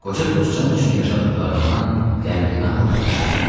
Qoca Dostcan üçün yaşadıqlarından qəmli nağıl danışırdı.